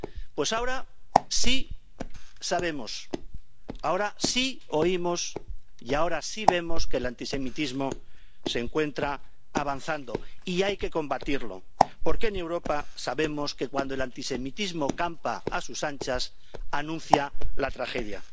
Pues ahora sí sabemos, ahora sí oímos y ahora sí vemos que el antisemitismo se encuentra avanzando y hay que combatirlo, porque en Europa sabemos que cuando el antisemitismo campa a sus anchas anuncia la tragedia.